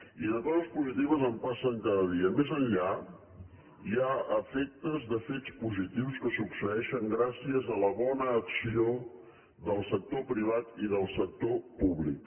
i de coses positives en passen cada dia més enllà hi ha efectes de fets positius que succeeixen gràcies a la bona acció del sector privat i del sector públic